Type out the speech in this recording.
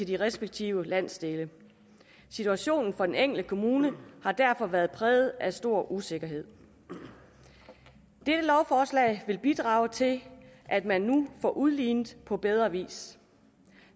de respektive landsdele situationen for den enkelte kommune har derfor været præget af stor usikkerhed dette lovforslag vil bidrage til at man nu får udlignet på bedre vis